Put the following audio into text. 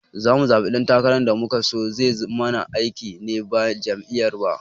Zamu zaɓi dan takarar da muka son zai mana aiki ne ba jam'iyyar ba